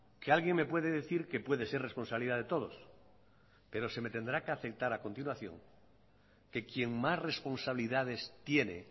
que alguien me puede decir que puede ser responsabilidad de todos pero se me tendrá que aceptar a continuación que quien más responsabilidades tiene